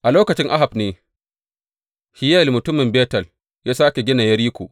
A lokaci Ahab ne, Hiyel mutumin Betel ya sāke gina Yeriko.